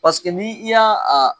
Paseke n'i y'a a